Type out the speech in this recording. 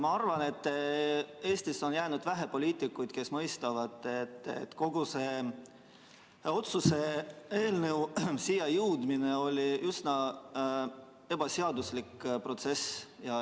Ma arvan, et Eestis on vähe poliitikuid, kes mõistavad, et kogu see otsuse eelnõu siia jõudmine oli üsna ebaseaduslik protsess.